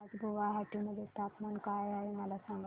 आज गुवाहाटी मध्ये तापमान काय आहे मला सांगा